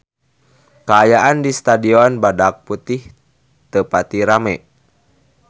Kaayaan di Stadion Badak Putih teu pati rame